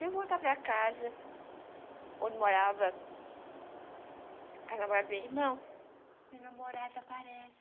De volta para casa, onde morava a namorada do meu irmão, minha namorada aparece.